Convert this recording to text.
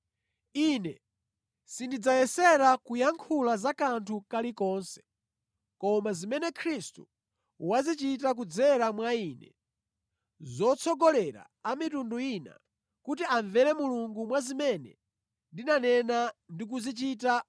Ine sindidzayesera kuyankhula za kanthu kalikonse koma zimene Khristu wazichita kudzera mwa ine zotsogolera a mitundu ina kuti amvere Mulungu mwa zimene ndinanena ndi kuzichita